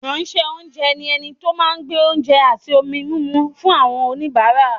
Ìránṣẹ́-oúnjẹ ni ẹni tó máa ń gbé oúnjẹ àti ohun-mímu fún àwọn oníbàárà.